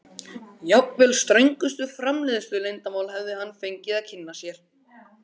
Jafnvel ströngustu framleiðsluleyndarmál hefði hann fengið að kynna sér.